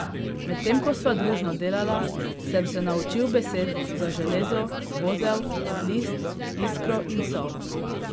Medtem ko sva družno delala, sem se naučil besed za železo, vozel, list, iskro in sol.